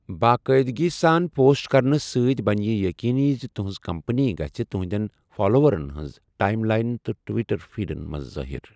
باقٲعِدگی سان پوسٹ کرنہٕ سۭتۍ بَنہِ یہِ یٔقیٖنی زِ تُہٕنٛز کمپٔنی گَژھِ تُہنٛدیٚن فالووَرن ہِنٛزِ ٹایِم لاینہِ تہٕ ٹُوِٹَر فیٖڈن منٛز ظٲہِر۔